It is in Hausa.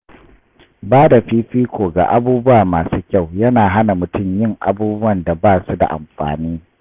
Bada fifiko ga abubuwa masu kyau yana hana mutum yin abubuwan da ba su da amfani.